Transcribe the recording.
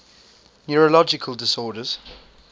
neurological disorders